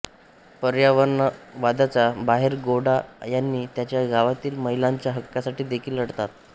पर्यावरणवादाच्या बाहेर गौडा यांनी त्यांच्या गावातील महिलांच्या हक्कांसाठी देखील लढतात